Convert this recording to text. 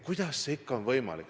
Kuidas see ikkagi on võimalik?